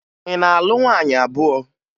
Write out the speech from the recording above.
Ị na-alụ nwaanyị abụọ?